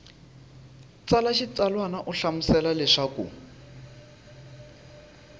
tsala xitsalwana u hlamusela leswaku